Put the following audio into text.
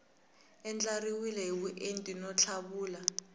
andlariwile hi vuenti no tlhavula